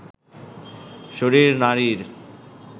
শরীর নারীর